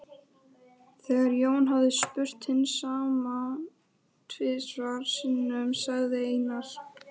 Þegar Jón hafði spurt hins sama tvisvar sinnum sagði Einar